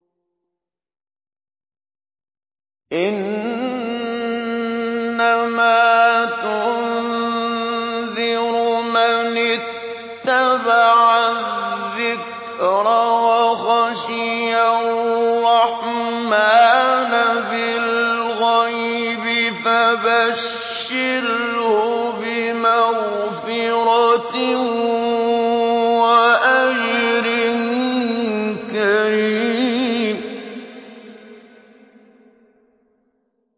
إِنَّمَا تُنذِرُ مَنِ اتَّبَعَ الذِّكْرَ وَخَشِيَ الرَّحْمَٰنَ بِالْغَيْبِ ۖ فَبَشِّرْهُ بِمَغْفِرَةٍ وَأَجْرٍ كَرِيمٍ